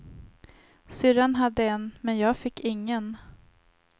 Syrran hade en, men jag fick ingen.